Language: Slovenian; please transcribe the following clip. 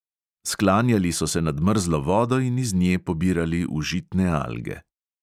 Sklanjali so se nad mrzlo vodo in iz nje pobirali užitne alge.